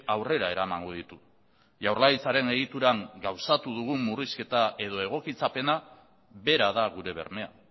aurrera eramango ditu jaurlaritzaren egituran gauzatu dugun murrizketa edo egotzikapena bera da gure bermea